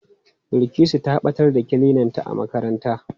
Bilkisu ta ɓatar da kilinanta a makaranta.